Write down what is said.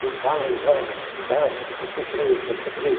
Não falam nada, cuidado, porque pode ser preso, pode ser preso.